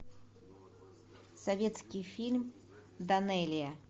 советский фильм данелия